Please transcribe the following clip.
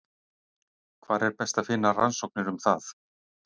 Hvar er best að finna rannsóknir um það?